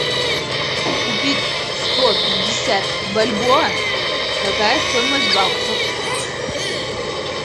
купить сто пятьдесят бальбоа какая стоимость в баксах